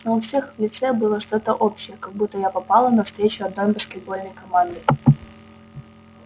но у всех в лице было что-то общее как будто я попала на встречу одной баскетбольной команды